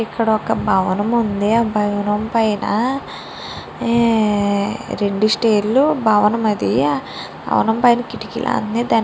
ఇక్కడ ఒక భవనం ఉంది ఆ భవనం పైన రొండు స్టైర్లు భవనం ఆది ఆ భవనం పైన కిటికీలు --